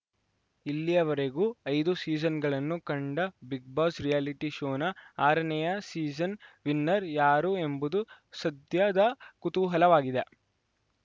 ಇಲ್ಲಿಯವರೆಗೂ ಐದು ಸೀಸನ್‌ಗಳನ್ನು ಕಂಡ ಬಿಗ್‌ಬಾಸ್‌ ರಿಯಾಲಿಟಿ ಶೋನ ಆರನೇಯ ಸೀಸನ್‌ ವಿನ್ನರ್‌ ಯಾರು ಎಂಬುದು ಸದ್ಯದ ಕುತೂಹಲವಾಗಿದೆ